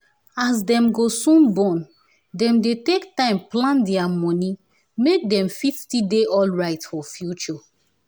as dem go soon born dem dey take time plan dia moni make dem fit still dey alright for future